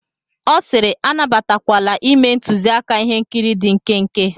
Ọ sịịrị, anabatakwala ime ntuziaka ihe nkiri dị nkenke.